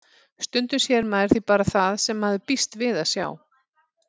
Stundum sér maður því bara það sem maður býst við að sjá.